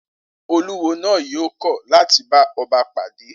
Olúwo náà yóò kọ̀ láti bá ọba pàdé